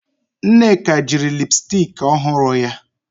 Nneka jiri lipsticki ọhụrụ ya